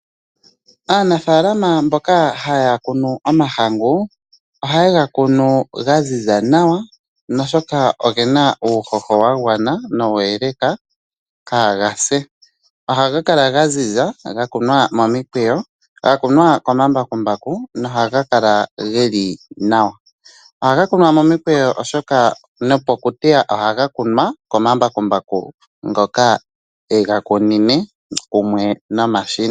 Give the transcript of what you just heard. Aanafaalama mboka haya kunu omahangu oha yega kunu ga ziza nawa no shoka ogena uuhoho wa gwana nawa nowa eleka kaa gase. Ohaga kala ga ziza ga kunwa mo mikweyo ga kunwa ko mambakumbaku no haga kala geli nawa. Ohaga kunwa mo mikweyo oshoka no pokuteya ohaga kunwa ko mambakumbaku ngoka ye ga kunine kumwe nomashina.